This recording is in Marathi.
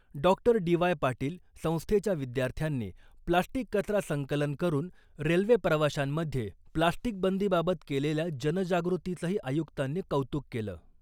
डॉक्टर डी वाय पाटील संस्थेच्या विद्यार्थ्यांनी प्लास्टिक कचरा संकलन करून रेल्वे प्रवाशांमध्ये प्लास्टिक बंदी बाबत केलेल्या जनजागृतीचंही आयुक्तांनी कौतुक केलं .